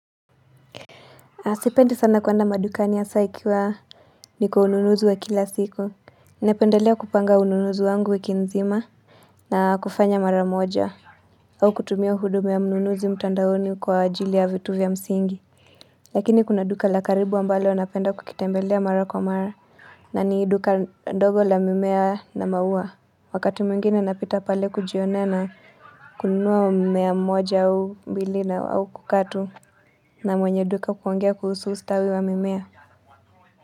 Sipendi sana kuenda madukani hasa ikiwa ni kwa ununuzi wa kila siku napendelea kupanga ununuzi wangu wiki nzima na kufanya maramoja au kutumia huduma ya ununuzu mtandaoni kwa ajili ya vitu vya msingi Lakini kuna duka la karibu wa ambalo napenda kukitembelea mara kwa mara na ni duka ndogo la mimea na maua Wakati mwngine napita pale kujionea kununua mmea moja au mbili na au kukaa tu na mwenye duka kuongea kuhusu ustawi wa mimea.